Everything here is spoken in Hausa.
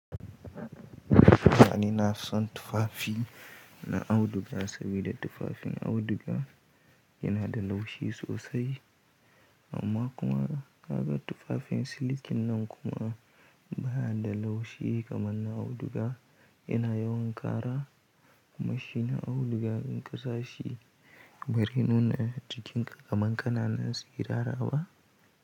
Mani na son tufafi, na auduga sabida tufafin auduga, yana da laushi sosai amma kuma, naga tufafin silikin nan kuma, baya da laushi kamar na auduga yana yawan ƙara, kuma shi na auduga, in ƙasa shi barai nuna jikin ka kamar ƙananan tsirara ba.